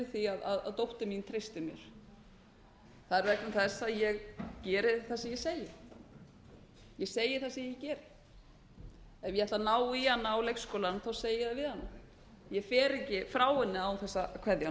ástæðan fyrir því að dóttir mín treystir mér það er vegna þess að ég geri yfirleitt það sem ég segi ég segi það sem ég geri ef ég ætla að ná í hana á leikskólann segi ég það við hana ég fer ekki frá henni án þess að kveðja